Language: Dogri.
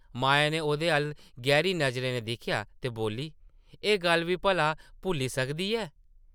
माया नै ओह्दे अʼल्ल गैहरी नज़रें नै दिक्खेआ ते बोल्ली, ‘‘एह् गल्ल बी भला भुल्ली सकदी ऐ?’’